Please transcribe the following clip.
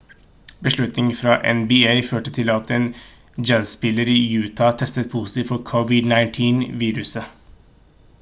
beslutningen fra nba førte til at en jazzspiller i utah testet positivt for covid-19-viruset